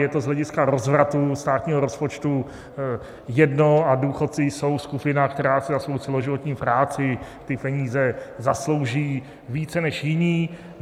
Je to z hlediska rozvratu státního rozpočtu jedno a důchodci jsou skupina, která si za svou celoživotní práci ty peníze zaslouží více než jiní.